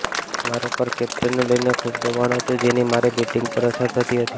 મારા પર કેપ્ટનને લઇને ખૂબ દબાણ હતું જેની મારી બેટિંગ પર અસર થતી હતી